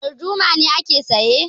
Darduma ne aka saya